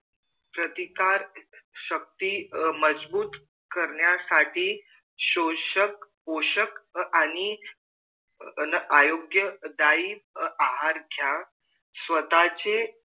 प्रतिकार शक्ति मजबूत करण्यासाठी शोषक पोषक आणि आरोग्य दायी आहार घ्या स्वतःचे